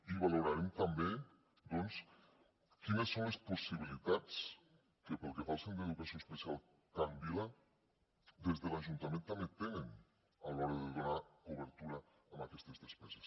i valorarem també doncs quines són les possibilitats que pel que fa al centre d’educació especial can vila des de l’ajuntament també tenen a l’hora de donar cobertura a aquestes despeses